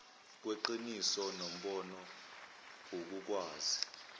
kweqiniso nombono ukukwazi